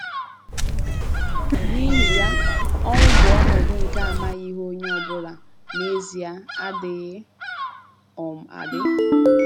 N’ihi ya, ọnwụ bụ ọnọdụ nke amaghị ihe ọ bụla — n’ezie, adịghị um adị.